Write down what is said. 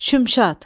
Şümşad.